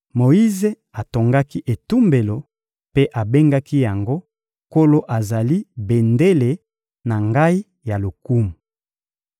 Moyize atongaki etumbelo mpe abengaki yango «Nkolo azali bendele na ngai ya lokumu.»